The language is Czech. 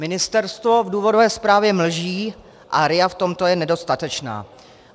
Ministerstvo v důvodové zprávě mlží a RIA v tomto je nedostatečná.